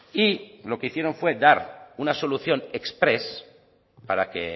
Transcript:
y lo que hicieron fue dar una solución exprés para que